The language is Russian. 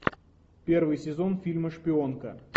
первый сезон фильма шпионка